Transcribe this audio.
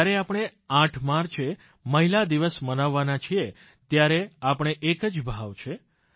જ્યારે આપણે 8 માર્ચે મહિલા દિવસ મનાવવાના છીએ ત્યારે આપણે એક જ ભાવ છે